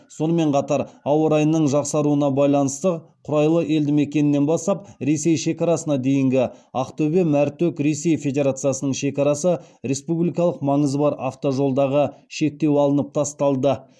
сонымен қатар ауа райының жақсаруына қарай құрайлы елдімекенінен бастап ресей шекарасына дейінгі ақтөбе мәртөк ресей федерациясының шекарасы республикалық маңызы бар автожолдағы шектеу алынып тасталды